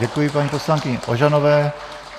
Děkuji paní poslankyni Ožanové.